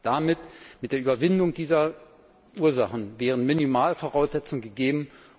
Damit mit der Überwindung dieser Ursachen wären Minimalvoraussetzungen gegeben,